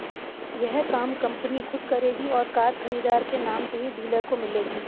यह काम कंपनी खुद करेगी और कार खरीदार के नाम से ही डीलर को मिलेगी